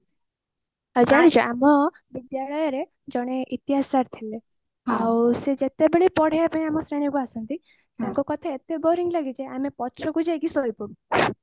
ଆଉ ଜାଣିଛ ଆମ ବିଦ୍ୟାଳୟରେ ଜଣେ ଇତିହାସ sir ଥିଲେ ଆଉ ସେ ଯେତେବେଳେ ପଢିବା ପାଇଁ ଆମ ଶ୍ରେଣୀ କୁ ଆସନ୍ତି ତାଙ୍କ କଥା ଏତେ boring ଲାଗେ ଯେ ଆମେ ପଛକୁ ଯାଇକି ସୋଇପଡୁ